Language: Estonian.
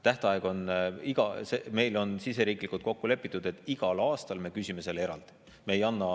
Tähtaeg on, meil on siseriiklikult kokku lepitud, et igal aastal me küsime selle eraldi.